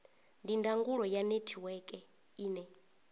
ndi ndangulo ya netiweke ine